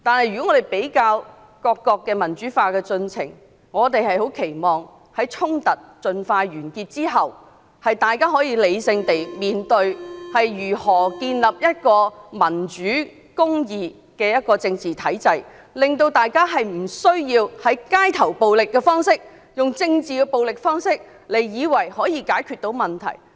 不過，比較各國民主化的進程，我們期望在衝突盡快完結後，大家可以理性地解決問題，從而建立一個民主和公義的政治體制，令大家無須再以為用街頭暴力或政治暴力的方式，便能解決問題。